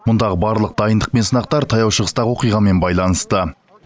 мұндағы барлық дайындық пен сынақтар таяу шығыстағы оқиғамен байланысты